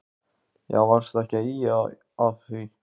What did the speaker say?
Já varstu ekki að ýja að því.